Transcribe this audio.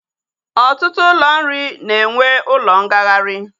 Ọtụtụ ụlọ nri na-enwe ụlọ ngagharị